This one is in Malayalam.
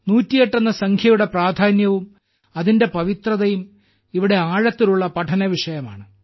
108 എന്ന സംഖ്യയുടെ പ്രാധാന്യവും അതിന്റെ പവിത്രതയും ഇവിടെ ആഴത്തിലുള്ള പഠന വിഷയമാണ്